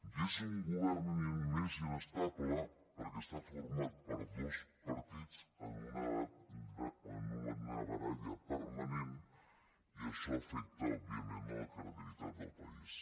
i és un govern més inestable perquè està format per dos partits en una baralla permanent i això afecta òbviament la credibilitat del país